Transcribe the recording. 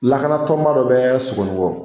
Lakanatɔnba dɔ bɛ Sogonikɔ